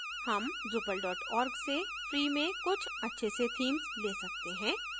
हम drupal org से free में कुछ अच्छे से themes we सकते हैं